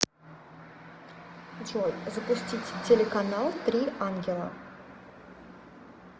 джой запустить телеканал три ангела